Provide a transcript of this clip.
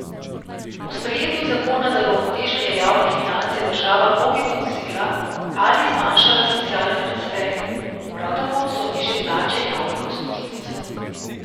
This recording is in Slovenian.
Po sprejetju zakona za uravnoteženje javnih financ je država mnogim odvzela ali zmanjšala socialne transferje, prav tako so nižje plače javnih uslužbencev.